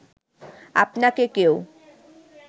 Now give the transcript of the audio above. আপনাকে কেউ